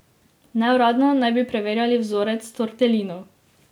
Neuradno naj bi preverjali vzorec tortelinov.